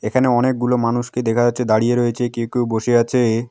এখানে অনেকগুলো মানুষকে দেখা যাচ্ছে দাঁড়িয়ে রয়েছে কেউ কেউ বসে আছে।